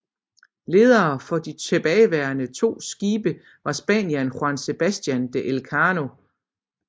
Ledere for de tilbageværende to skibe var spanieren Juan Sebastián de Elcano